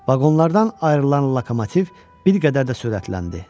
Vaqonlardan ayrılan lokomotiv bir qədər də sürətləndi.